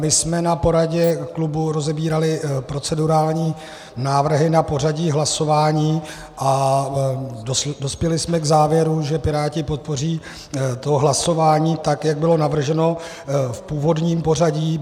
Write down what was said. My jsme na poradě klubu rozebírali procedurální návrhy na pořadí hlasování a dospěli jsme k závěru, že Piráti podpoří to hlasování tak, jak bylo navrženo v původním pořadí.